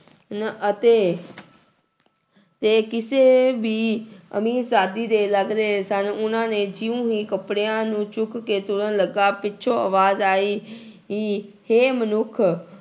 ਨ ਅਤੇ ਤੇ ਕਿਸੇ ਵੀ ਅਮੀਰਜਾਦੀ ਦੇ ਲੱਗ ਰਹੇ ਸਨ ਉਹਨਾਂ ਨੇ ਜਿਉਂ ਹੀ ਕੱਪੜਿਆਂ ਨੂੰ ਚੁੱਕ ਕੇ ਤੁਰਨ ਲੱਗਾ ਪਿੱਛੋਂ ਆਵਾਜ਼ ਆਈ ਈ ਹੇ ਮਨੁੱਖ